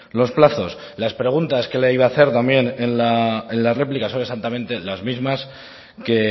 los plazos las preguntas que le iba a hacer también en la réplica son exactamente las mismas que